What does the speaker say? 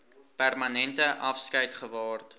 permanente afskeid geword